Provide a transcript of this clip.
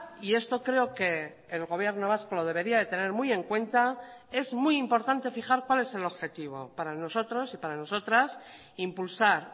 y esto creo que el gobierno vasco lo debería de tener muy en cuenta es muy importante fijar cuál es el objetivo para nosotros y para nosotras impulsar